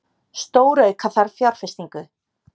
Stórauka þarf fjárfestingu